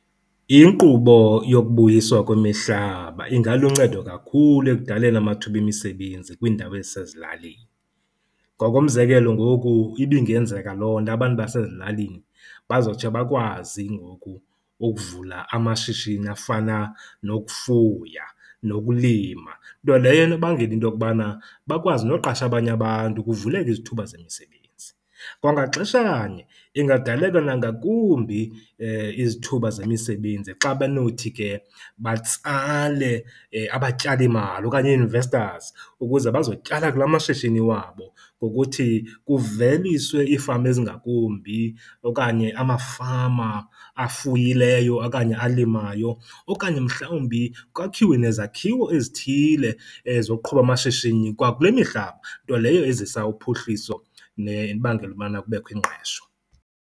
Inkqubo yokubuyiswa kwemihlaba ingaluncedo kakhulu ekudaleni amathuba emisebenzi kwiindawo ezisezilalini. Ngokomzekelo, ngoku ibingenzeka loo nto abantu basezilalini bazotsho bakwazi ngoku ukuvula amashishini afana nokufuya nokulima. Nto leyo enobangela into okubana bakwazi noqasha abanye abantu kuvuleke izithuba zemisebenzi. Kwangaxeshanye ingadaleka nangakumbi izithuba zemisebenzi xa benothi ke batsale abatyalimali okanye ii-investors ukuze bazotyala kula mashishini wabo ngokuthi kuveliswe iifama ezingakumbi okanye amafama afuyileyo okanye alimayo. Okanye mhlawumbi kwakhiwe nezakhiwo ezithile zokuqhuba amashishini kwakule mihlaba nto leyo ezisa uphuhliso nebangela ubana kubekho ingqesho.